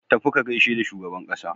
Tafi ka gaishe da shugaban ƙasa!